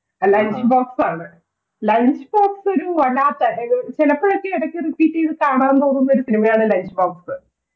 Lunch box ആണ്. ആഹ് Lunch box ഒരു വല്ലാത്ത എന്തോ ചിലപ്പോളൊക്കെ ഇടക്ക് റിപ്പീറ് ചെയ്തു കാണാൻ തോന്നുന്ന ഒരു cinema യാണ് Lunch box.